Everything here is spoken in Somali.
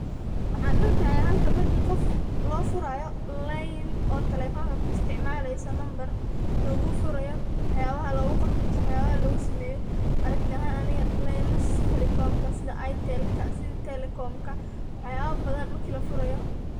Waxana arkaya halkan marki qof loo furayo leyn oo taleefonla ku isticmaaleyso nambar lugu furayo waxbaha lugu qabto ama waxbaha lugu sameeyo aragti ahan ani leemasha sidi safaricomla sidi airtelka mise telcomka wax yaba badan marki lafurayo